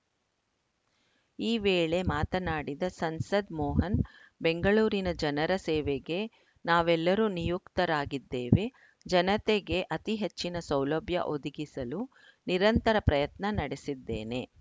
ಈ ವೇಳೆ ಮಾತನಾಡಿದ ಸಂಸದ ಮೋಹನ್‌ ಬೆಂಗಳೂರಿನ ಜನರ ಸೇವೆಗೆ ನಾವೆಲ್ಲರೂ ನಿಯುಕ್ತರಾಗಿದ್ದೇವೆ ಜನತೆಗೆ ಅತಿ ಹೆಚ್ಚಿನ ಸೌಲಭ್ಯ ಒದಗಿಸಲು ನಿರಂತರ ಪ್ರಯತ್ನ ನಡೆಸಿದ್ದೇನೆ